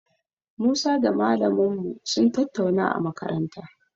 Musa da malamin mu sun tattauna a makaranta.